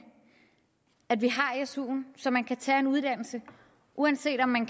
at vi har suen så man kan tage en uddannelse uanset om man